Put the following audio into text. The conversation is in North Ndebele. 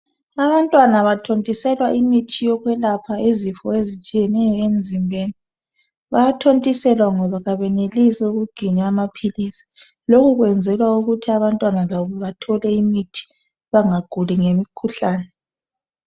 Abantwana bathontiselwe imithi yokwelapha izifo ezitshiyeneyo emzimbeni bayathontiselwa ngoba kabenelisi ukuginya amaphilisi lokhu kwenzelwa ukuthi abantwana labo bathole imithi bangaguli ngemikhuhlane.